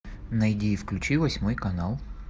найди и включи восьмой канал